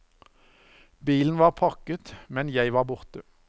Bilen var pakket, men jeg var borte.